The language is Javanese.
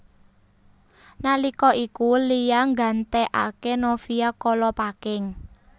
Nalika iku Lia nggantekaké Novia Kolopaking